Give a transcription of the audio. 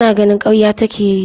Yana ganin karya take yi.